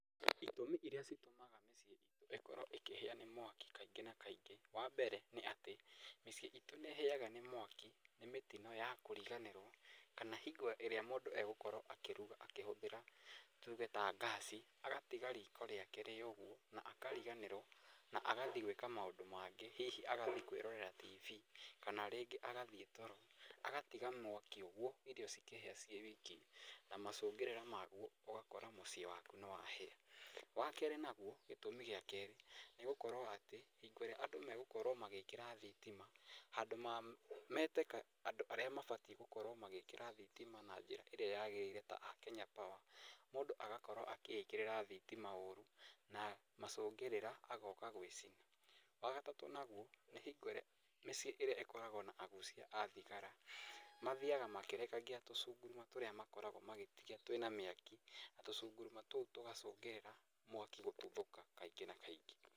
Ĩtũmi ĩria citũmaga mũciĩ ĩtũ ĩkorwo ĩkĩhĩa nĩ mwaki kaingĩ na kaingĩ, wa mbere nĩ atĩ mũciĩ ĩtũ nĩ ĩhĩyaga nĩ mwaki nĩ mĩtino ya kũriganĩrwo kana hingo ĩrĩa mũndũ egũkorwo akĩruga akĩhũthĩra tuge ta ngasi agatiga riko rĩake rĩ ũguo na akariganĩrwo na agathĩĩ gwĩka maũndũ mangĩ hihi agathiĩ kwĩrorera tibi, kana rĩngĩ agathĩĩ toro agatiga mwaki ũguo irio cikĩhĩa cĩawiki na macũngĩrĩra maguo ũgakora mũciĩ waku nĩ wahĩa. Wa kerĩ naguo gĩtũmi gĩa kerĩ nĩ gũkorwo atĩ hingo ĩrĩa andũ megũkorwo magĩkĩra thitima handũ ma mete andũ arĩa mabatĩ gũkorwo magĩkĩra thitima na njĩra ĩrĩa yagĩrĩire ta a Kenya Power mũndũ agakorwo akĩĩkĩrĩra thitima ũru na macũngĩrĩra agoka gwĩcina. Wa gatatũ naguo nĩ hingo ĩrĩa mĩcĩĩ ĩrĩa ĩkoragwo na agucia a thigara mathiyaga makĩrekagia tũcunguruma tũrĩa makoragwo magĩte twĩna mwaki, tũcunguruma tũu tũgacũngĩrĩria mwaki gũtuthũka kaingĩ na kaingĩ.